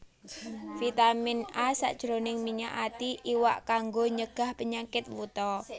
Vitamin A sajroning minyak ati iwak kanggo nyegah penyakit wuta